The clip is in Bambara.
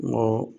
Mɔɔ